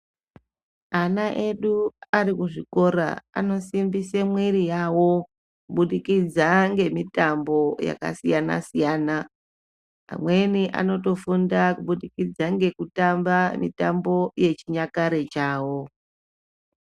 Ana edu ari kuzvikora anosimbise mwiiri yavo kubudikidza ngemitambo yakasiyana-siyana. Amweni anotofunda kubudikidza ngekutamba mitambo yechinyakare chavo.